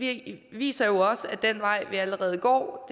det viser jo også at den vej vi allerede går